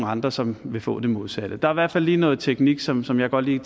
andre som vil få det modsatte der er i hvert fald lige noget teknisk som som jeg godt lige